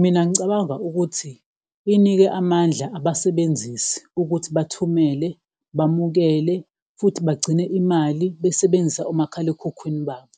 Mina ngicabanga ukuthi unike amandla abasebenzisi ukuthi bathumele, bamukele futhi bagcine imali besebenzisa omakhalekhukhwini babo,